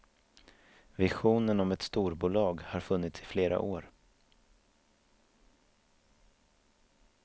Visionen om ett storbolag har funnits i flera år.